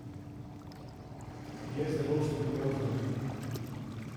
Je zelo študiozen.